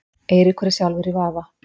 Eiríkur er sjálfur í vafa.